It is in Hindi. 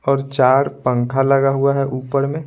और चार पंखा लगा हुआ है ऊपर में।